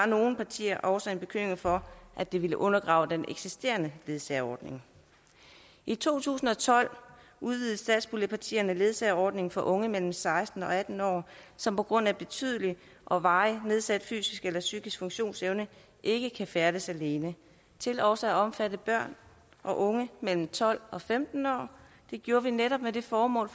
nogle partier også en bekymring for at det ville undergrave den eksisterende ledsageordning i to tusind og tolv udvidede satspuljepartierne ledsageordningen for unge mellem seksten og atten år som på grund af betydelig og varigt nedsat fysisk eller psykisk funktionsevne ikke kan færdes alene til også at omfatte børn og unge mellem tolv og femten år det gjorde vi netop med det formål